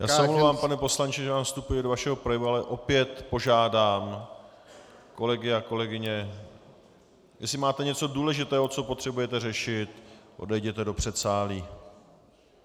Já se omlouvám, pane poslanče, že vám vstupuji do vašeho projevu, ale opět požádám kolegy a kolegyně - jestli máte něco důležitého, co potřebujete řešit, odejděte do předsálí.